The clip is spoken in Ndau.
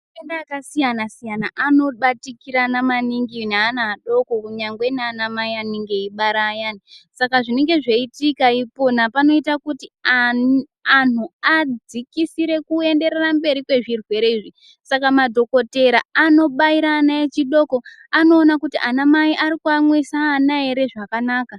Mitemo yakasiyana siyana anobatikirana maningi neana adoko kuyangwe nana mai anenge eibara ayani .Saka zvinenge zveiitika ipona panoita kuti ani anhu adzikisire kuenderera mberi kwezvirwere izvi , Saka madhokotera anobaira ana echidoko anoona kuti ana mai ari kuamwisa ana ere zvakanaka.